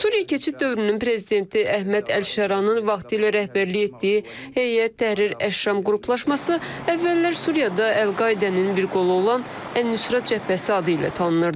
Suriya keçid dövrünün prezidenti Əhməd Əl-Şaranın vaxtilə rəhbərlik etdiyi Heyət Təhrir Əşşam qruplaşması əvvəllər Suriyada Əl-Qaidənin bir qolu olan Ən-Nusrət Cəbhəsi adı ilə tanınırdı.